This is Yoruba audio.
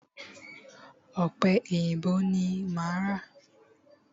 Ọ̀pẹ èyìǹbó ni máa ra.